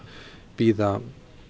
bíða